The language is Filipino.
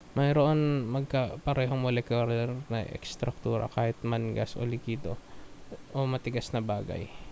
mayroon itong magkaparehong molekular na estruktura kahit ito man ay gas likido o matigas na bagay